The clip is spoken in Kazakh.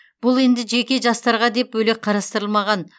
бұл енді жеке жастарға деп бөлек қарастырылмаған